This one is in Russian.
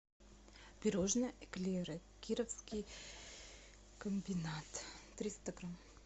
пирожное эклеры кировский комбинат триста грамм